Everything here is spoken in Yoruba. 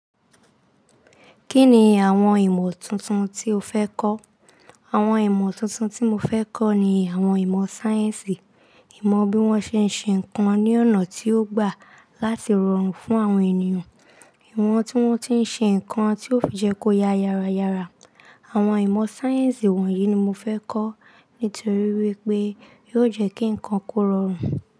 Kí ni àwọn ìmọ̀ tuntun tí o fẹ́ kọ́? Àwọn ìmọ̀ tuntun tí mo fẹ́ kọ́ ni àwọn ìmọ̀ sáyẹ́ǹsì, ìmọ̀ bí wọ́n ṣe ń ṣe ǹkan ní ọ̀nà tí ó gbà láti rọrùn fún àwọn ènìyàn, ìwọ̀n tí wọ́n ti ń ṣe ǹkan tí ó fi jẹ́ kó ya yára yára. Àwọn ìmọ̀ sáyẹ́ǹsì wọ̀nyí ni mo fẹ́ kọ́ nítorí wípé yóò jẹ́ kí ǹkan kó rọrùn.